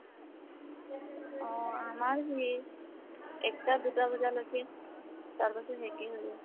অহ। আমাৰ সি একটা দুটা বজালৈকে, তাৰ পিছাত শেষে হৈ যায়।